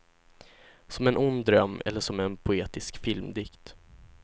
Som en ond dröm eller som en poetisk filmdikt.